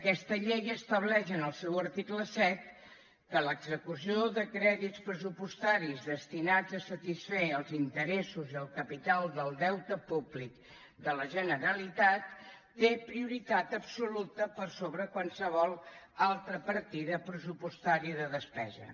aquesta llei estableix en el seu article set que l’execució de crèdits pressupostaris destinats a satisfer els interessos i el capital del deute públic de la generalitat té prioritat absoluta sobre qualsevol altra partida pressupostària de despesa